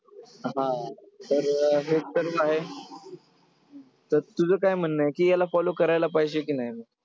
हा तर हे आहे. तर तुझं काय म्हणणं आहे की याला follow करायला पाहिजे की नाही?